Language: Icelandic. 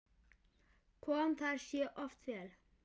Kom það sér oft vel.